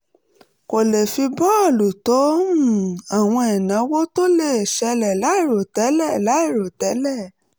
kó lè fi bójú tó um àwọn ìnáwó tó lè ṣẹlẹ̀ láìròtẹ́lẹ̀ láìròtẹ́lẹ̀